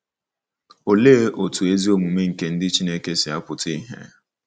Olee otú ezi omume nke ndị Chineke si apụta ìhè?